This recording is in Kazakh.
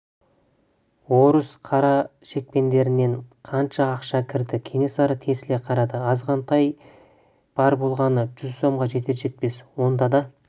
орыс қарашекпендерінен қанша ақша кірді кенесары тесіле қарады азғантай бар болғаны жүз сомға жетер-жетпес онда да